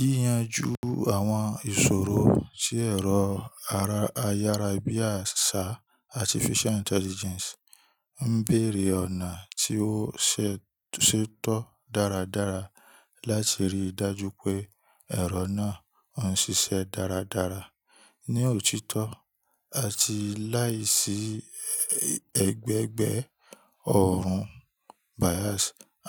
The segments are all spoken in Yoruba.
Yíyanjú àwọn ìṣòro sí ẹ̀rọ ara ayára ibi àṣá Artificial Intelligence ń béèrè ọ̀nà tí ó ṣetọ́ dáradára láti rí i dájú pé ẹ̀rọ náà o ń ṣiṣẹ́ dáradára, ní òtítọ́, àti láìsí ẹgbẹgbẹ ọ̀ọ̀run bias.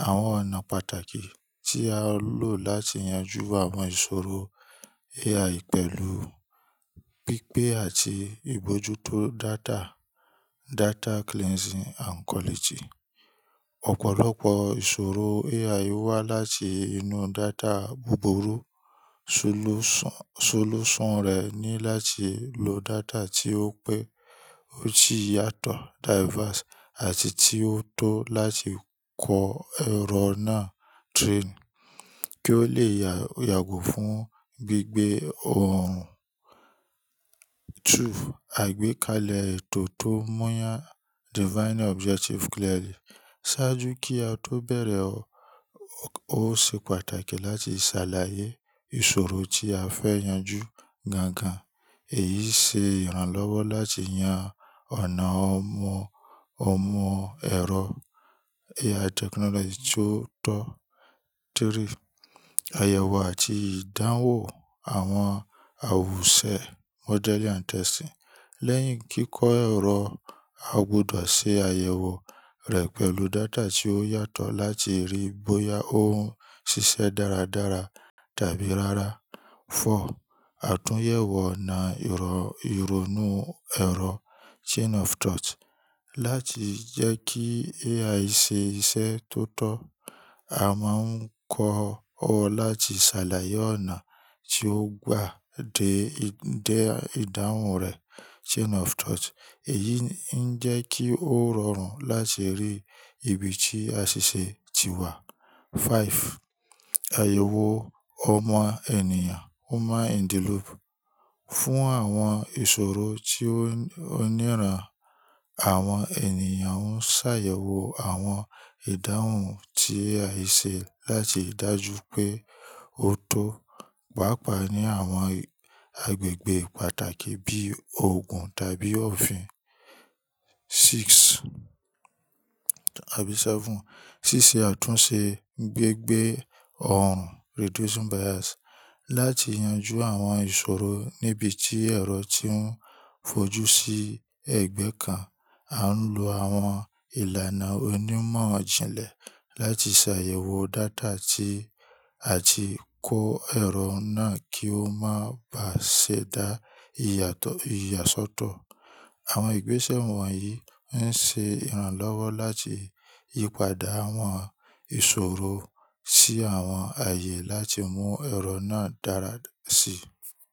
Àwọn ọ̀nà pàtàkì tí a lò láti yanjú àwọn ìṣòro AI pẹ̀lú pípé àti ìbójútó data. Data cleansing and co. Ọ̀pọ̀lọpọ̀ ìṣòro AI wá láti inú data búburú. Solúṣọ̀n rẹ̀ ni láti lo data tí ó pé ó ti yàtọ̀ àti tí ó tọ́ láti kọ ẹ̀rọ náà kí ó lè yàgò fún gbígbẹ́ ọ̀ọ̀run. 2. Àgbékalẹ̀ ètò tó mọ́ yàn: ṣáájú kí a tó bẹ̀rẹ̀, ó ṣe pàtàkì láti ṣàlàyé ìṣòro tí a fẹ́ yanjú gangan. Èyí ṣe ìrànlọ́wọ́ láti yan ọ̀nà ọmọ ẹ̀rọ AI technology tí ó tọ́. 3. Àyẹ̀wò àti ìdáhùn àwọn àwùse: lẹ́yìn kíkọ ẹ̀rọ, a gbọ́dọ̀ ṣe àyẹ̀wò rẹ̀ pẹ̀lú data tí ó yàtọ̀ láti rí bóyá ó ń ṣiṣẹ́ dáradára tàbí rárá. 4. Àtúnyẹ̀wò ọ̀nà ìronu ẹ̀rọ: láti jẹ́ kí AI ṣe iṣẹ́ tó tọ́, a máa ń kọ́ ọ láti ṣàlàyé ọ̀nà tí ó gbà dé ìdáhùn rẹ̀. Èyí ńi n jẹ́ kí ó rọrùn láti rí ibi tí aṣiṣe ti wà. 5. Àyẹ̀wò ọmọ ènìyàn: fún àwọn ìṣòro tí ó niran, àwọn ènìyàn ó ń ṣàyẹ̀wò àwọn ìdáhùn tí AI ṣe láti dájú pé ó tó, pàápàá ní àwọn agbègbè pàtàkì bíi òògùn tàbí òfin. 6 àbí 7. Ṣíṣe àtúnṣe gbígbẹ́ ọ̀ọ̀run: láti yanjú àwọn ìṣòro níbi tí ẹ̀rọ tí ń fojú sí ẹgbẹ́ kan, a ń lo àwọn ìlànà onímọ̀-ijìnlẹ̀ láti ṣàyẹ̀wò data ti àti kọ ẹ̀rọ náà kí ó máa ba ṣe dá ìyàsọ́tọ̀. Àwọn ìgbésẹ̀ wọ̀nyí ń ṣe ìrànlọ́wọ́ láti yípadà àwọn ìṣòro sí àwọn ààyè láti mú ẹ̀rọ náà dára sí i.